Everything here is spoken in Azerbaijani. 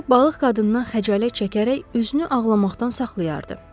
O balıq qadından xəcalət çəkərək özünü ağlamaqdan saxlayardı.